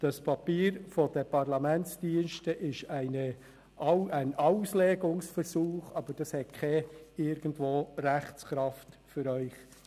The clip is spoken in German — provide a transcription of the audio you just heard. Das Papier der Parlamentsdienste ist ein Auslegungsversuch, aber es hat keine Rechtskraft für Sie.